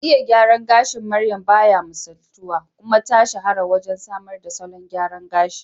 Iya gyaran gashin maryam baya misaltuwa, kuma ta shahara wajen samar da salon gyara gashi